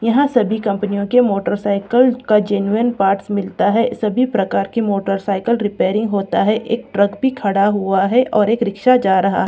यहां सभी कंपनियों के मोटरसाइकेल का जेनुइन पार्ट मिलता है सभी प्रकार के मोटरसाइकेल रिपेयेरिंग होती है एक ट्रक भी खड़ा हुआ है और एक रिक्शा जा रहा--